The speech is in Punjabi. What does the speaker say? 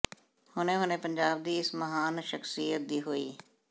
ਹੁਣੇ ਹੁਣੇ ਪੰਜਾਬ ਦੀ ਇਸ ਮਹਾਨ ਸ਼ਖਸ਼ੀਅਤ ਦੀ ਹੋਈ